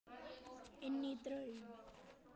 Inní draum.